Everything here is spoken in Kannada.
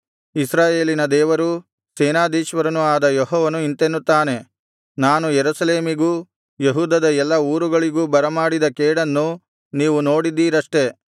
ಇಸ್ರಾಯೇಲಿನ ದೇವರೂ ಸೇನಾಧೀಶ್ವರನೂ ಆದ ಯೆಹೋವನು ಇಂತೆನ್ನುತ್ತಾನೆ ನಾನು ಯೆರೂಸಲೇಮಿಗೂ ಯೆಹೂದದ ಎಲ್ಲಾ ಊರುಗಳಿಗೂ ಬರಮಾಡಿದ ಕೇಡನ್ನು ನೀವು ನೋಡಿದ್ದೀರಷ್ಟೆ